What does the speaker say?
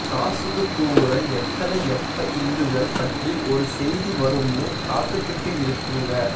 காசுக்கு கூவுற எத்தனை எப்ப இந்துக்கள் பற்றி ஒரு செய்தி வருமன்னு காத்துகிட்டு இருக்குங்க